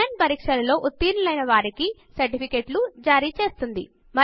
on line test లో ఉత్తీర్ణులు అయిన వారికి సర్టిఫికెట్లు జారిచేస్తుంది